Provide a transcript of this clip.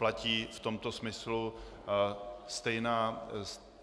Platí v tomto smyslu